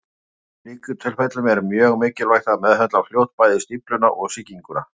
Í slíkum tilfellum er mjög mikilvægt að meðhöndla fljótt bæði stífluna og sýkinguna.